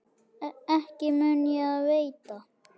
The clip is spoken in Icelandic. Ekki mun þér af veita.